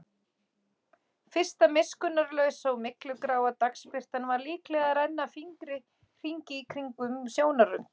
Fyrsta miskunnarlausa og myglugráa dagsbirtan var líklega að renna fingri hringinn í kringum sjónarrönd.